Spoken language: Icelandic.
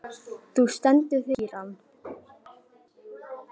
Þú stendur þig vel, Kíran!